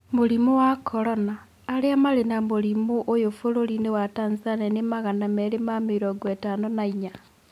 Mũrimũ wa Korona: Arĩa marĩ na mũrimũ ũyũ bũrũri-inĩ wa Tanzania nĩ magana meri ma mĩrongo ĩtano na inya